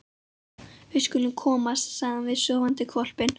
Við skulum komast, sagði hann við sofandi hvolpinn.